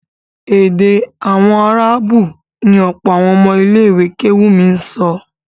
Èdè àwọn áráàbù ni ọ̀pọ̀ àwọn ọmọ ilé kéwúù mi ń sọ